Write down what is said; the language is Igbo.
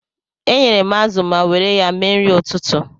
Eyere m azụ ma were ya mee nri ụtụtụ.